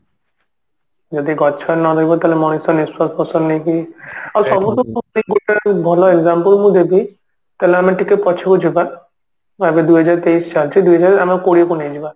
ଯଦି ଗଛ ନ ରହିବ ତାହେଲେ ମଣିଷ ନିଶ୍ଵାସ ପ୍ରଶ୍ଵାସ ନେଇକି ଆଉ ସବୁ ଠୁ ଗୋଟେ ଭଲ example ମୁଁ ଦେବି ତାହେଲେ ଆମେ ଟିକେ ପଛକୁ ଯିବା ଦୁଇଜହାର ତେଇଶ ଚାଲିଛି ଦୁଇ ହଜାର ଆମର କୋଡିଏ କୁ ନେଇଯିବା